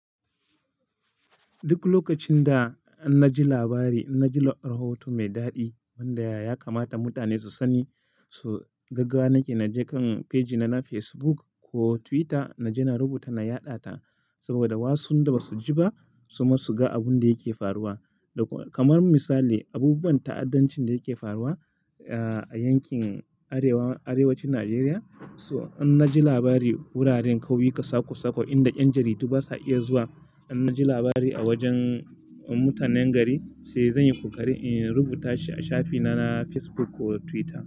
Duk lokacin da na ji labari, na ji rahoton mai daɗi wanda ya kamata mutane su sani su gaggawa nake, na je kan faji na na Facebook ko Twitter na je na rubuta na yaɗa ta saboda wasu da ba su ji ba su ma su ga abun da yake faruwa. Da kamar misali, abubuwan ta'addancin da yake faruwa, ah, a yankin Arewa-- Arewacin Najeriya. So in na ji labari wuraren kauyuka sako-sako inda 'yan jaridu ba su iya zuwa, in na ji labari a wajen mutanen gari sai zan yi kokari in rubuta shi a shafi na na Facebook ko Twitter.